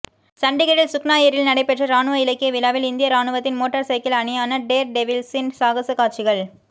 சண்டிகரில் சுக்னா ஏரியில் நடைபெற்ற இராணுவ இலக்கிய விழாவில் இந்திய இராணுவத்தின் மோட்டார் சைக்கிள் அணியான டேர்டெவில்ஸின் சாகச காட்சிகள்